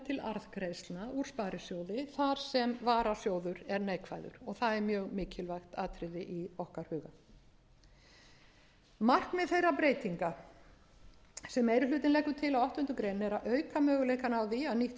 til arðgreiðslna úr sparisjóði þar sem varasjóður er neikvæður og það er mjög mikilvægt atriði í okkar huga markmið þeirra breytinga sem meiri hlutinn leggur til á áttundu greinar eru að auka möguleika á því að nýtt